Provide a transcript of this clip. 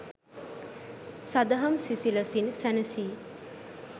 සදහම් සිසිලසින් සැනසී